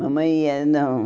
Mamãe ia, não.